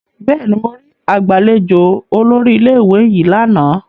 Bẹẹni, mo ri agbalejo olórí ilé-ìwé yìí lana